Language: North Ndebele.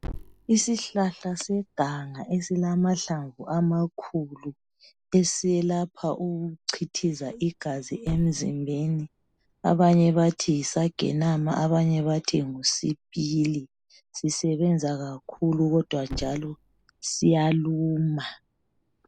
Isihlahla seganga esilamahlamvu amakhulu esiyelapha ukuchithiza igazi emzimbeni. Abanye bathi yisagenama abanye bathi ngu sipili. Sisebenza kakhulu kodwa njalo siyaluma.